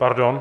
Pardon.